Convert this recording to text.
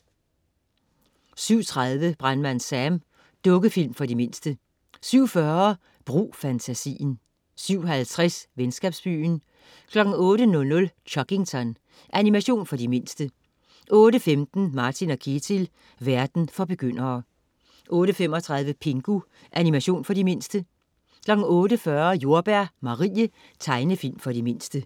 07.30 Brandmand Sam. Dukkefilm for de mindste 07.40 Brug fantasien 07.50 Venskabsbyen 08.00 Chuggington. Animation for de mindste 08.15 Martin & Ketil. Verden for begyndere 08.35 Pingu. Animation for de mindste 08.40 Jordbær Marie. Tegnefilm for de mindste